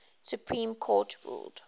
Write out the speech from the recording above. supreme court ruled